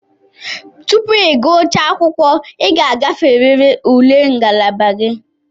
Tupu ị gụchaa akwụkwọ, ị ga-agaferịrị ule ngalaba gị.